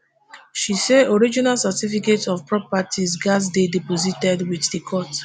she say original certificates of property gatz dey deposited wit di court